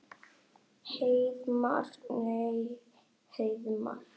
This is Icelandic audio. Heiðmar. nei Heiðmar?